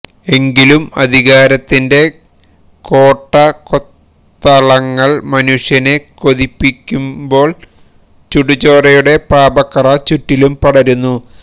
എങ്കിലും അധികാരത്തിന്റെ കോട്ടകൊത്തളങ്ങൾ മനുഷ്യനെ കൊതിപ്പിക്കുന്പോൾ ചുടുചോരയുടെ പാപക്കറ ചുറ്റിലും പടരുന്നു